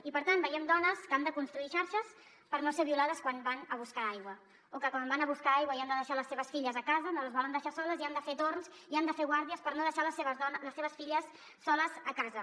i per tant veiem dones que han de construir xarxes per no ser violades quan van a buscar aigua o que quan van a buscar aigua i han de deixar les seves filles a casa no les volen deixar soles i han de fer torns i han de fer guàrdies per no deixar les seves filles soles a casa